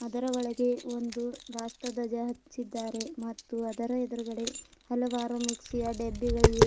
ಅದರ ಒಳಗೆ ಒಂದು ರಾಷ್ಟ್ರಧ್ವಜ ಹಚ್ಚಿದ್ದಾರೆ ಮತ್ತು ಅದರ ಎದ್ರುಗಡೆ ಹಲವಾರು ಮಿಕ್ಸಿಯ ಡಬ್ಬಿಗಳಿವೆ.